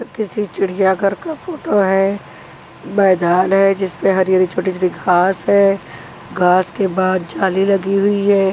किसी चिड़िया घर का फोटो है मैदान है जिस पर हरी हरी छोटी छोटी घास है घास के बाद जाली लगी हुई है।